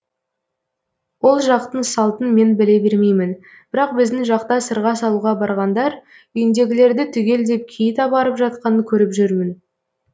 ол жақтың салтын мен біле бермеймін бірақ біздің жақта сырға салуға барғандар үйіндегілерді түгелдеп киіт апарып жатқанын көріп жүрмін